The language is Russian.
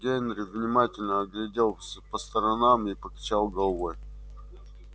генри внимательно огляделся по сторонам и покачал головой